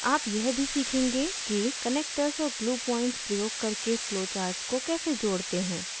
आप यह भी सीखेंगे कि connectors और glue points प्रयोग करके flowcharts को कैसे जोड़ते हैं